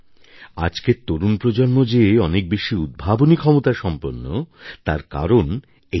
আজকের তরুণ প্রজন্ম যে অনেক বেশি উদ্ভাবনী ক্ষমতাসম্পন্ন তার কারণ এটাই